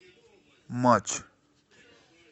матч